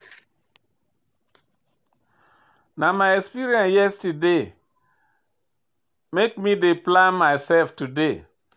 Na my experience yesterday make me dey plan mysef today.